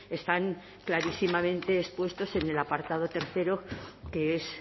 están clarísimamente expuestos en el apartado tercero que es